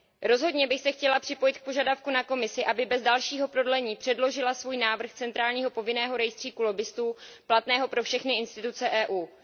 Rozhodně bych se chtěla připojit k požadavku na Komisi, aby bez dalšího prodlení předložila svůj návrh centrálního povinného rejstříku lobbistů platného pro všechny orgány a instituce Evropské unie.